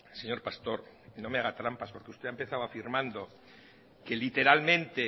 señor pastor no me haga trampas porque usted ha empezado afirmando que literalmente